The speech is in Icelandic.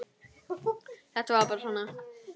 Þetta var bara svona.